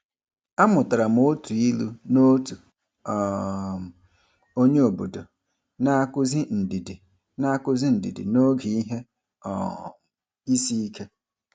A mụtara m otu ilu n’otu um onyeobodo na-akụzi ndidi na-akụzi ndidi n’oge ihe um isiike.